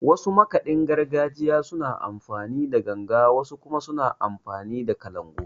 Wasu makaɗin gargajiyar suna amfani da Ganga, wasu kuma suna amfani da Kalangu.